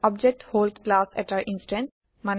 object হল class এটাৰ instance